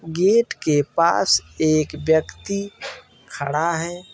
Gate के पास एक व्यक्ति खड़ा है।